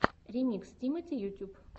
ремикс тимати ютюб